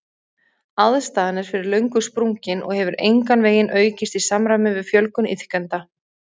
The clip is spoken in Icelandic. Aðstaðan er fyrir löngu sprungin og hefur engan veginn aukist í samræmi við fjölgun iðkenda.